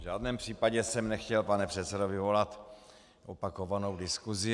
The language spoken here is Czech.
V žádném případě jsem nechtěl, pane předsedo, vyvolat opakovanou diskusi.